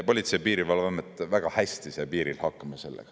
Politsei‑ ja Piirivalveamet sai sellega väga hästi piiril hakkama.